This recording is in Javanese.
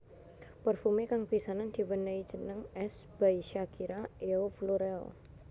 Parfumé kang pisanan diwenehi jeneng S by Shakira Eau Florale